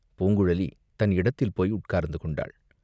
பூங்குழலி தன் இடத்தில் போய் உட்கார்ந்து கொண்டாள்.